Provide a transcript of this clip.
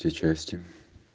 все части